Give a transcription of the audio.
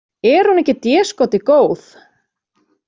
Er hún ekki déskoti góð?